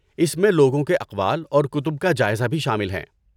اس میں لوگوں کے اقوال اور کتب کا جائزہ بھی شامل ہیں۔